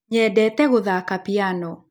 nyedete gũthaka piano.